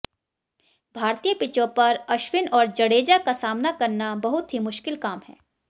भारतीय पिचों पर अश्विन और जडेजा का सामना करना बहुत ही मुश्किल काम है